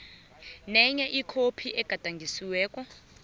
nenye ikhophi egadangisiweko